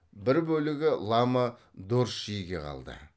бір бөлігі лама дорчжиге қалды